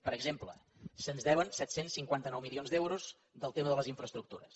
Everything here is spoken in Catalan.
per exemple se’ns deuen set cents i cinquanta nou milions d’euros del tema de les infraestructures